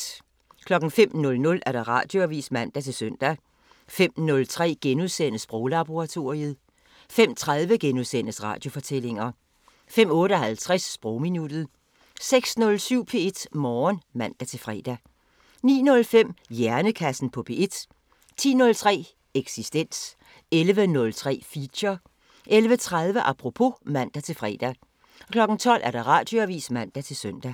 05:00: Radioavisen (man-søn) 05:03: Sproglaboratoriet * 05:30: Radiofortællinger * 05:58: Sprogminuttet 06:07: P1 Morgen (man-fre) 09:05: Hjernekassen på P1 10:03: Eksistens 11:03: Feature 11:30: Apropos (man-fre) 12:00: Radioavisen (man-søn)